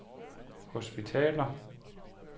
hospitaler